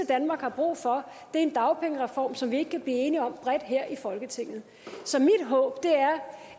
danmark har brug for er en dagpengereform som vi ikke kan blive enige om bredt her i folketinget så mit håb er